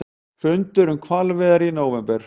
Fundur um hvalveiðar í nóvember